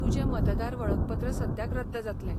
तुजें मतदार वळखपत्र सद्याक रद्द जातलें.